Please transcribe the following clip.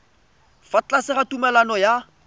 fa tlase ga tumalano ya